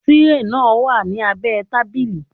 Tírè náà wà ní abẹ́ẹ tábìlì